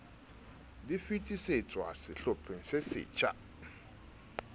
di fetisetswa sehlopheng se setjha